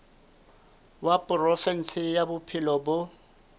wa provinse ya bophelo bo